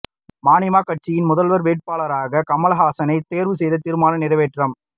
மநீம கட்சியின் முதல்வர் வேட்பாளராக கமல்ஹாசனை தேர்வு செய்து தீர்மானம் நிறைவேற்றம்